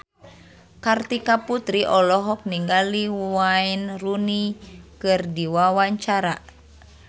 Kartika Putri olohok ningali Wayne Rooney keur diwawancara